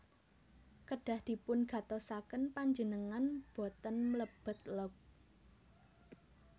Kedah dipun gatosaken Panjenengan boten mlebet log